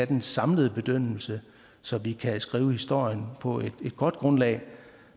den samlede bedømmelse så vi kan skrive historien på et godt grundlag